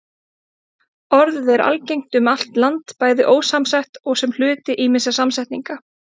Orðið er algengt um allt land, bæði ósamsett og sem hluti ýmissa samsetninga.